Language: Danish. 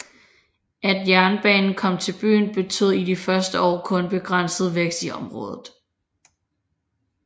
At jernbanen kom til byen betød i de første år kun begrænset vækst i området